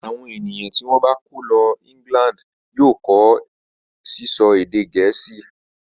Àwọn ènìyàn tí wọ́n bá kó lọ England yóò kọ́ sísọ èdè Gẹ̀ẹ́sì.